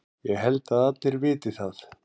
Ég held að allir viti það.